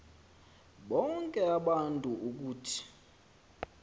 bonke abantu ukuthi